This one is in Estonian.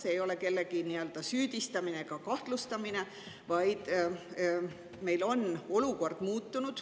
See ei ole kellegi süüdistamine ega kahtlustamine, vaid meil on olukord muutunud.